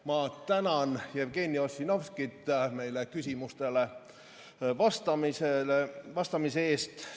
Ma tänan Jevgeni Ossinovskit küsimustele vastamise eest.